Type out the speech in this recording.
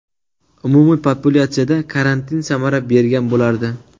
Umumiy populyatsiyada karantin samara bergan bo‘lardi.